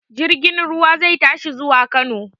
Jirgin ruwa zai tashi zuwa Kano.